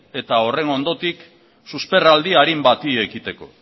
eta horren ondotik susperraldi arin bati ekiteko